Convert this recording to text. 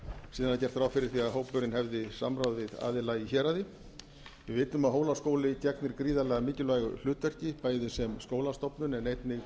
er gert ráð fyrir því að hópurinn hefði samráð við aðila í héraði við vitum að hólaskóli gegnir gríðarlega mikilvægu hlutverki bæði sem skólastofnun en einnig